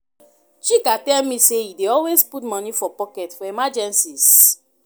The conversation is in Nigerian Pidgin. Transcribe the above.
Chika tell me say e dey always put money for pocket for emergencies